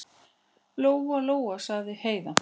Lóa-Lóa, sagði Heiða.